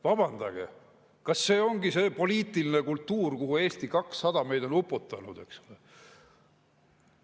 Vabandage, kas see ongi see poliitiline kultuur, kuhu Eesti 200 meid on uputanud?